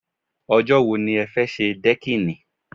Ọjọ́ wo ni ẹ fẹ́ ṣe dẹ́kìnì?